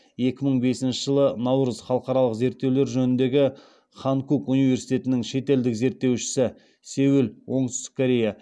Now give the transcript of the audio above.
екі мың бесінші жылы халықаралық зерттеулер жөніндегі ханкук университетінің шетелдік зерттеушісі